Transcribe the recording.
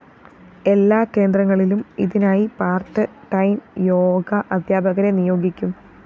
എല്ലാ കേന്ദ്രങ്ങളിലും ഇതിനായി പാര്‍ട്ട് ടൈം യോഗ അധ്യാപകരെ നിയോഗിക്കും